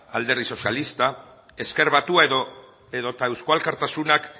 alderdi sozialista ezker batua edo eusko alkartasunak